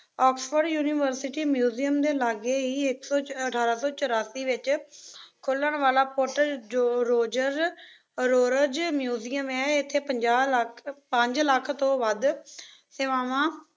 Oxford University Museum ਦੇ ਲਾਗੇ ਈ ਇੱਕ ਸ~ ਅਠਾਰਾਂ ਸੌ ਚੁਰਾਸੀ ਵਿੱਚ ਖੁੱਲਣ ਵਾਲਾ ਪੁੱਟ ਜੋਰਜਜ਼ ਰੋਰਜ਼ ਮਿਊਜ਼ੀਅਮ ਏ। ਇੱਥੇ ਪੰਜਾਹ ਲੱਖ, ਪੰਜ ਲੱਖ ਤੋਂ ਵੱਧ ਸੇਵਾਵਾਂ